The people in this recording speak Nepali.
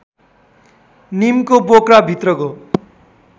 निमको बोक्रा भित्रको